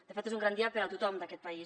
de fet és un gran dia per a tothom d’aquest país